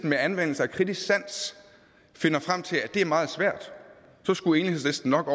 med anvendelse af kritisk sans finder frem til at det er meget svært så skulle enhedslisten nok